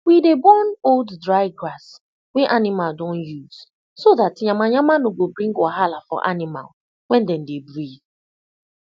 we dey burn old dry grass wey animal don use so dat yama yama no go bring wahala for animal when den dey breathe